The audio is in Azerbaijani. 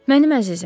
Mənim əzizim.